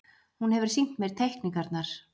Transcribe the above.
Hún hefur sýnt mér teikningarnar.